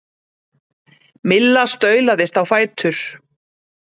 Milla staulaðist á fætur.